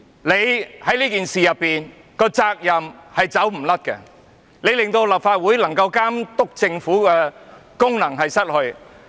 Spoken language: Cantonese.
你在這次事件中的責任無法推諉，你令立法會喪失了監督政府的功能。